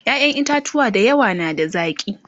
ƴaƴan itatuwa da yawa na da zaki